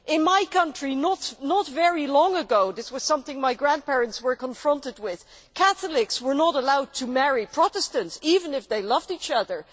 In my country, not very long ago this was something my grandparents were confronted with Catholics were not allowed to marry Protestants even if they loved each other.